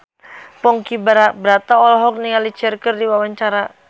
Ponky Brata olohok ningali Cher keur diwawancara